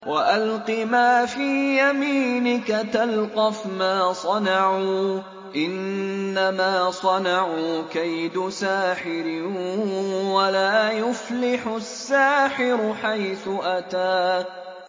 وَأَلْقِ مَا فِي يَمِينِكَ تَلْقَفْ مَا صَنَعُوا ۖ إِنَّمَا صَنَعُوا كَيْدُ سَاحِرٍ ۖ وَلَا يُفْلِحُ السَّاحِرُ حَيْثُ أَتَىٰ